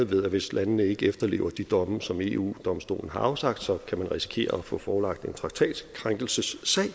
ved at hvis landene ikke efterlever de domme som eu domstolen har afsagt så kan man risikere at få forelagt en traktatkrænkelsessag